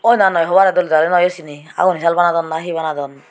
oi na noi hobare dole dali noyo sine aguni saal banadon na he banadon.